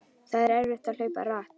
Það var erfitt að hlaupa hratt.